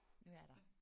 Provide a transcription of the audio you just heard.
Nu er der